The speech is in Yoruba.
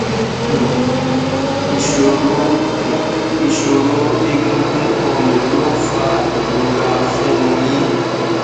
um ìṣòro um ìṣòro egungun ọrùn ló ń fa ìrora fún un yín